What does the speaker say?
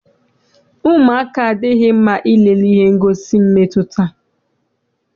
Ụmụaka adịghị mma ilele ihe ngosi nke mmetụta.